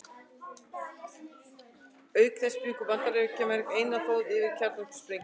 Auk þess bjuggu Bandaríkjamenn einir þjóða yfir kjarnorkusprengjunni.